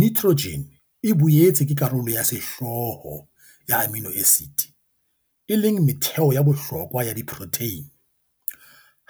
Nitrogen e boetse ke karolo ya sehlooho ya amino acids, e leng metheo ya bohlokwa ya diprotheine.